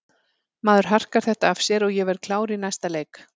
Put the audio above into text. Maður harkar þetta af sér og ég verð klár í næsta leik.